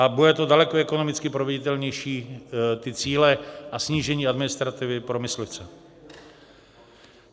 A bude to daleko ekonomicky proveditelnější, ty cíle, a snížení administrativy pro myslivce.